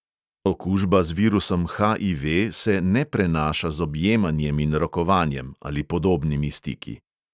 Okužba z virusom HIV se ne prenaša z objemanjem in rokovanjem ali podobnimi stiki.